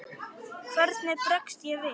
Hvernig bregst ég við?